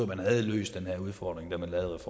man havde løst den udfordring da man lavede